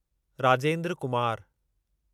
Rajendra Kumar